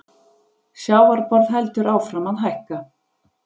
Sjávarborð heldur áfram að hækka